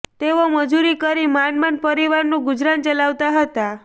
તેઓ મજુરી કરી માંડ માંડ પરિવારનું ગુજરાન ચલાવતા હતા